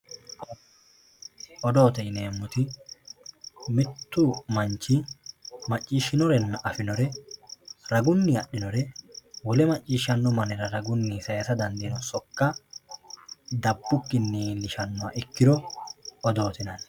odoote yineemmoti mittu manchi macciishshinore afinore ragunninna adhinore wole macciishshannohura ragunni sayiisa dandaanno ssokka daabbukkinni iillishannoha ikkiro odoote yinanni.